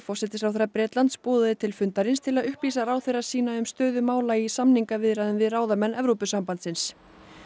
forsætisráðherra Bretlands boðaði til fundarins til að upplýsa ráðherra sína um stöðu mála í samningaviðræðum við ráðamenn Evrópusambandsins